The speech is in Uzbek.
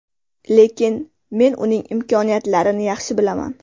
Lekin men uning imkoniyatlarini yaxshi bilaman.